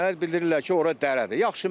Mənə bildirirlər ki, ora dərədir.